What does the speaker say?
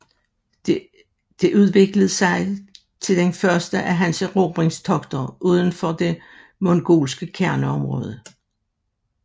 Det udviklet sig til den første af hans erobringstogter uden for det mongolske kerneområdet